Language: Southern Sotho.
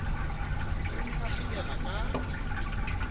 o ne a kgenela ka